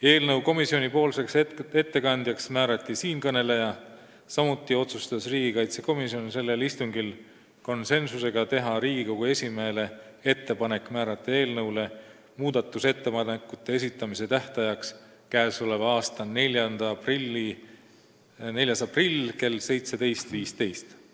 Eelnõu komisjoni ettekandjaks määrati siinkõneleja, samuti otsustas riigikaitsekomisjon sellel istungil teha Riigikogu esimehele ettepaneku määrata eelnõule muudatusettepanekute esitamise tähtajaks k.a 4. aprill kell 17.15.